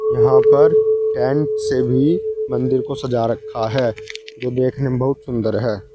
यहां पर टेंट से भी मंदिर को सजा रखा है जो देखने में बहुत सुंदर है।